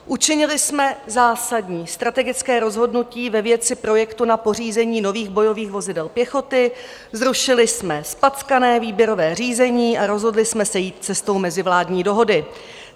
Učinili jsme zásadní strategické rozhodnutí ve věci projektu na pořízení nových bojových vozidel pěchoty, zrušili jsme zpackané výběrové řízení a rozhodli jsme se jít cestou mezivládní dohody.